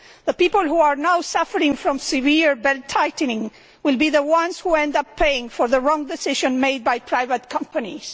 The people who are now suffering from severe belt tightening will be the ones who end up paying for the wrong decisions made by private companies.